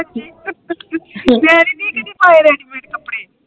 ਮੈਂ ਨੀ ਪਾਏ ਦੀਦੀ ਕਦੇ ਰੈਡੀ ਮੇਡ ਕਪੜੇ